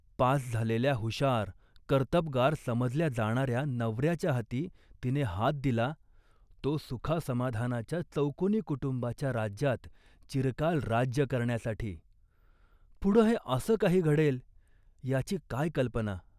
Pass झालेल्या हुशार, कर्तबगार समजल्या जाणाऱ्या नवऱ्याच्या हाती तिने हात दिला, तो सुखासमाधानाच्या चौकोनी कुटुंबाच्या राज्यात चिरकाल राज्य करण्यासाठी. पुढं हे असं काही घडेल याची काय कल्पना